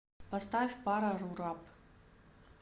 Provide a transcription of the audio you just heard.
поставь парарурап